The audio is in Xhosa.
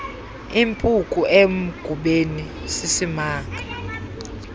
impuku emgubeni sisimanga